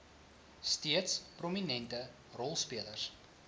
steeds prominente rolspelers